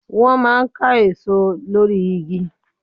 Wọ́n máa ń ká èso lórí igi.